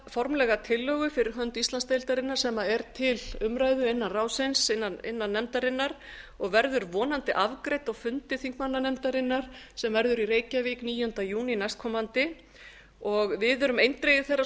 formlega tillögu fyrir hönd íslandsdeildarinnar sem er til umræðu innan ráðsins innan nefndarinnar og verður vonandi afgreidd á fundi þingmannanefndarinnar sem verður í reykjavík níunda júní næstkomandi við erum eindregið